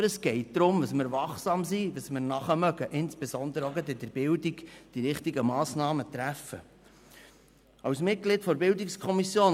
Aber es geht darum, wachsam zu sein und damit nachzukommen, die richtigen Massnahmen zu treffen, insbesondere bei der Bildung.